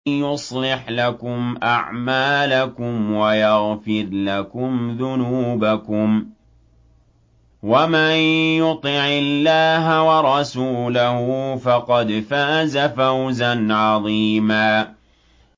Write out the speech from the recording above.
يُصْلِحْ لَكُمْ أَعْمَالَكُمْ وَيَغْفِرْ لَكُمْ ذُنُوبَكُمْ ۗ وَمَن يُطِعِ اللَّهَ وَرَسُولَهُ فَقَدْ فَازَ فَوْزًا عَظِيمًا